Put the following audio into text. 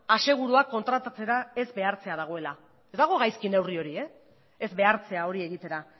asegurua kontratatzera ez behartzea dagoela ez dago gaizki neurri hori ez behartzera hori egitera